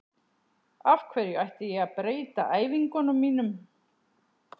Af hverju ætti ég að breyta æfingunum mínum?